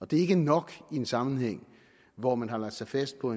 det er ikke nok i en sammenhæng hvor man har lagt sig fast på